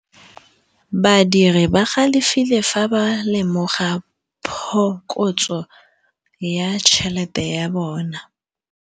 Badiri ba galefile fa ba lemoga phokotsô ya tšhelête ya bone.